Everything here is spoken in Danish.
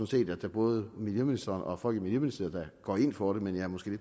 set at både miljøministeren og folk i miljøministeriet da går ind for det men jeg er måske